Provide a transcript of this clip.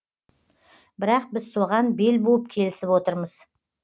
бірақ біз соған бел буып келісіп отырмыз